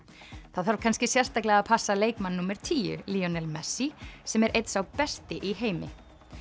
það þarf kannski sérstaklega að passa leikmann númer tíu messi sem er einn sá besti í heimi